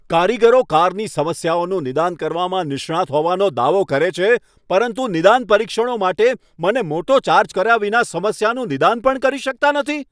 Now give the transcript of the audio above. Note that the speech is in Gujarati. કારીગરો કારની સમસ્યાઓનું નિદાન કરવામાં નિષ્ણાંત હોવાનો દાવો કરે છે પરંતુ 'નિદાન પરીક્ષણો' માટે મને મોટો ચાર્જ કર્યા વિના સમસ્યાનું નિદાન પણ કરી શકતા નથી?